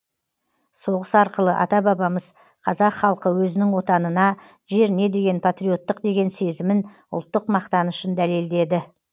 соғыс арқылы ата бабамыз қазақ халқы өзінің отанына жеріне деген патриоттық деген сезімін ұлттық мақтанышын дәлелдеді